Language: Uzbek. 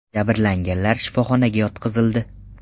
Jabrlanganlar shifoxonaga yotqizildi.